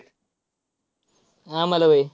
आम्हाला व्हय?